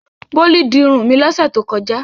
Bólú di irun mi lọ́sẹ̀ tó kọjá.